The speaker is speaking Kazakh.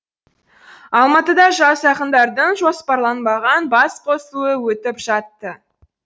алматыда жас ақындардың жоспарланбаған бас қосуы өтіп жатты